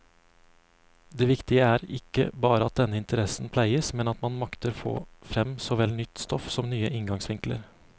Det viktige er ikke bare at denne interessen pleies, men at man makter få frem såvel nytt stoff som nye inngangsvinkler.